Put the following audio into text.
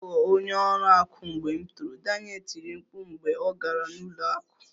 M ga-aghọ onye ọrụ akụ mgbe m toro, Daniel tiri mkpu mgbe ọ gara n'ụlọ akụ